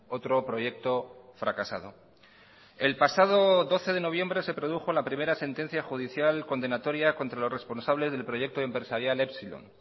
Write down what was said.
otro proyecto fracasado el pasado doce de noviembre se produjo la primera sentencia judicial condenatoria contra los responsables del proyecto empresarial epsilon